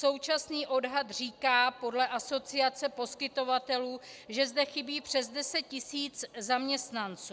Současný odhad říká podle Asociace poskytovatelů, že zde chybí přes 10 tisíc zaměstnanců.